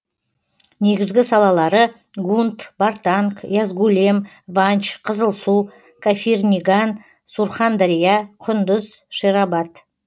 негізгі салалары гунт бартанг язгулем ванч қызылсу кафирниган сурхандария құндыз шерабад